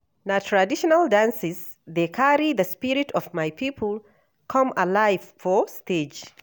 Na traditional dances dey carry the spirit of my people come alive for stage.